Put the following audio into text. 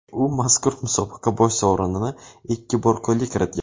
U mazkur musobaqa bosh sovrinini ikki bor qo‘lga kiritgan.